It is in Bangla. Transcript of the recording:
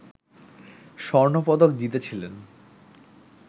স্বর্ণপদক জিতেছিলেন